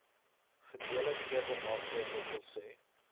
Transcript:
gedelegeerde magte dws